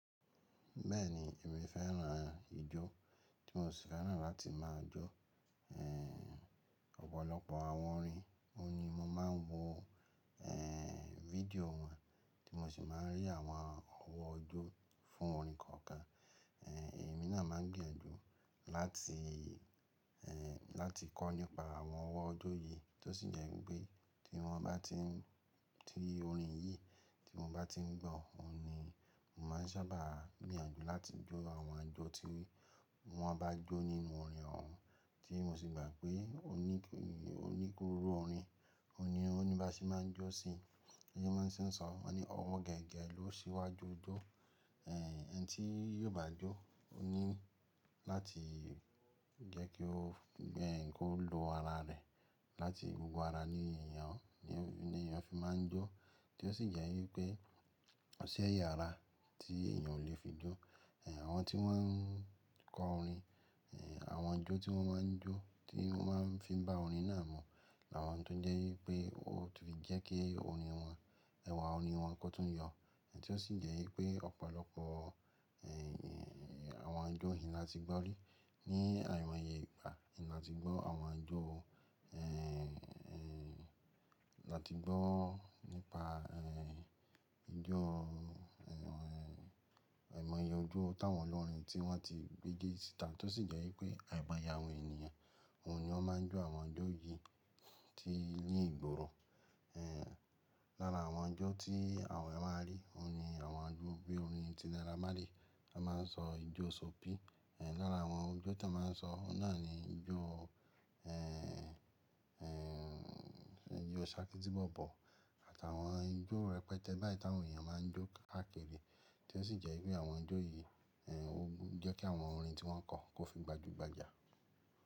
Bẹ́ẹ̀ni, èmi fẹ́ràn ijó, tí mo sì fẹ́ràn láti máa jó. Ẹ̀ ọ̀pọ̀lọpọ̀ àwọn orin, òun ni mo máa ń wo, eh, fídíò wọn, tí mo sì máa ń rí àwọn ọwọ́ ojú fún orin kọ̀ọ̀kan. Èmi náà máa ń gbìyànjú láti, ehn, láti kọ́ nípa àwọn ọwọ́ ojú yìí tó sì jẹ́ pé tí wọ́n bá ti ń-- tí orin yìí tí mo bá ti ń gbọ́, òun ni mo máa ń sábà gbìyànjú láti jó àwọn ajo tí wọ́n bá jó nínú orin ọ̀wọ́n, tí mo sì gbà pé ó ní, ó ní kúró orin, òun ni ó ní bá ṣe máa ń jó sí i. Ẹni tí wọ́n sì ń sọ wọ́n ni ọwọ́ gẹ̀gẹ̀ ló sì wá jó jó., ẹni tí yóò bá jó, òun ni láti jẹ́ kó, kó lo ara rẹ̀. Láti gbogbo ara ní èèyàn, ní èèyàn fi máa ń jó. Tí ó sì jẹ́ wípé kò sí ẹ̀yà ara tí èèyàn ò le fi jó. Àwọn tí wọ́n ń kọ orin, ehn, àwọn jó tí wọ́n máa ń jó, tí wọ́n máa ń fi bá orin náà mọ̀, làwọn tó ń jẹ́ wípé ó tún lè jẹ́ pé orin wọn, ẹwà orin wọn kó tún yọ. Tí ó sì jẹ́ wípé ọ̀pọ̀lọpọ̀, àwọn jó yìí ni a ti gbọ́ rí ní àìmọye ìpà. Ni a ti gbọ́ àwọn jó, ehn, ehn, láti gbọ́ nípa, ijó, ẹ̀ mọye ojú táwọn ọlọ́rin tí wọ́n ti gbé dé títà, tó sì jẹ́ wípé àìbàyàwó ènìyàn, òun ni wọ́n máa ń jó àwọn jó yìí tí ilé ìgboro. Lára àwọn jó tí àwọn ẹ máa rí, òun ni àwọn jó bí orin Tinara Mali, a máa ń sọ ijó sobi. Lára àwọn ijó tí a máa ń sọ, ó náà ni ijó, ijó Ṣákí tí Bọ̀bọ̀ àtàwọn ijó rẹpẹtẹ báyìí táwọn èèyàn máa ń jó ákèrè. Tí ó sì jẹ́ wípé àwọn jó yìí, ehn, ó jẹ́ kí àwọn orin tí wọ́n kọ kó fi gbajúgbajà.